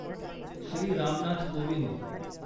Shri Ram Nath Kovind